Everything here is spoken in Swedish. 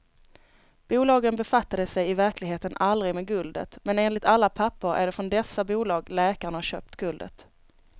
Bolagen befattade sig i verkligheten aldrig med guldet, men enligt alla papper är det från dessa bolag läkaren har köpt guldet.